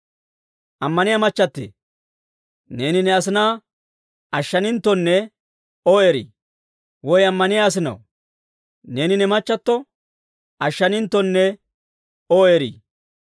Ammaniyaa machchattee, neeni ne asinaa ashshaninttonne O eri? Woy ammaniyaa asinaw neeni ne machchatto ashshaninttonne O eri?